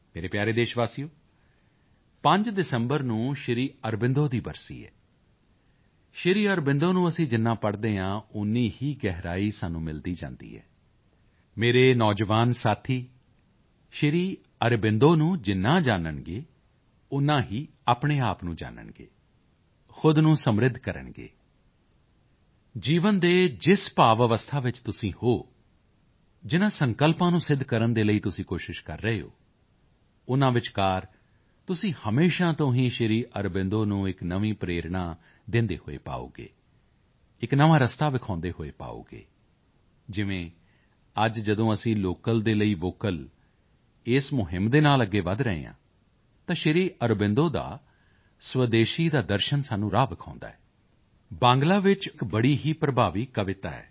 ਮੇਰੇ ਪਿਆਰੇ ਦੇਸ਼ਵਾਸੀਓ 5 ਦਸੰਬਰ ਨੂੰ ਸ਼੍ਰੀ ਅਰਬਿੰਦੋ ਦੀ ਬਰਸੀ ਹੈ ਸ਼੍ਰੀ ਅਰਬਿੰਦੋ ਨੂੰ ਅਸੀਂ ਜਿੰਨਾ ਪੜ੍ਹਦੇ ਹਾਂ ਓਨੀ ਹੀ ਗਹਿਰਾਈ ਸਾਨੂੰ ਮਿਲਦੀ ਜਾਂਦੀ ਹੈ ਮੇਰੇ ਨੌਜਵਾਨ ਸਾਥੀ ਸ਼੍ਰੀ ਅਰਬਿੰਦੋ ਨੂੰ ਜਿੰਨਾ ਜਾਨਣਗੇ ਓਨਾ ਹੀ ਆਪਣੇ ਆਪ ਨੂੰ ਜਾਨਣਗੇ ਖੁਦ ਨੂੰ ਸਮ੍ਰਿੱਧ ਕਰਨਗੇ ਜੀਵਨ ਦੇ ਜਿਸ ਭਾਵ ਅਵਸਥਾ ਵਿੱਚ ਤੁਸੀਂ ਹੋ ਜਿਨ੍ਹਾਂ ਸੰਕਲਪਾਂ ਨੂੰ ਸਿੱਧ ਕਰਨ ਦੇ ਲਈ ਤੁਸੀਂ ਕੋਸ਼ਿਸ਼ ਕਰ ਰਹੇ ਹੋ ਉਨ੍ਹਾਂ ਵਿਚਕਾਰ ਤੁਸੀਂ ਹਮੇਸ਼ਾ ਤੋਂ ਹੀ ਸ਼੍ਰੀ ਅਰਬਿੰਦੋ ਨੂੰ ਇੱਕ ਨਵੀਂ ਪ੍ਰੇਰਣਾ ਦਿੰਦੇ ਹੋਏ ਪਾਓਗੇ ਇੱਕ ਨਵਾਂ ਰਸਤਾ ਵਿਖਾਉਂਦੇ ਹੋਏ ਪਾਓਗੇ ਜਿਵੇਂ ਅੱਜ ਜਦੋਂ ਅਸੀਂ ਲੋਕਲ ਦੇ ਲਈ ਵੋਕਲ ਇਸ ਮੁਹਿੰਮ ਦੇ ਨਾਲ ਅੱਗੇ ਵਧ ਰਹੇ ਹਾਂ ਤਾਂ ਸ਼੍ਰੀ ਅਰਬਿੰਦੋ ਦਾ ਸਵਦੇਸ਼ੀ ਦਾ ਦਰਸ਼ਨ ਸਾਨੂੰ ਰਾਹ ਵਿਖਾਉਂਦਾ ਹੈ ਬਾਂਗਲਾ ਵਿੱਚ ਇੱਕ ਬੜੀ ਹੀ ਪ੍ਰਭਾਵੀ ਕਵਿਤਾ ਹੈ